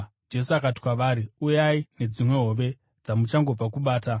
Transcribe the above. Jesu akati kwavari, “Uyai nedzimwe hove dzamuchangobva kubata.”